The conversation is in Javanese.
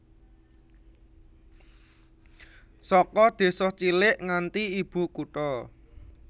Saka désa cilik nganti ibu kutha